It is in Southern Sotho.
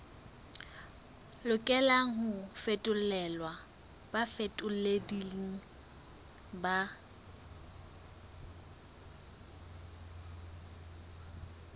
lokelang ho fetolelwa bafetoleding ba